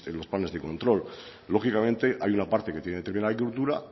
los planes de control lógicamente hay una parte que tiene que ver con la